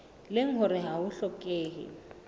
leng hore ha ho hlokehe